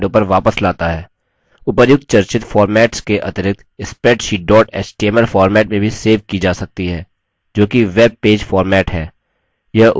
उपर्युक्त चर्चित formats के अतिरिक्त spreadsheet dot html format में भी सेव की जा सकती है जो कि web पेज format है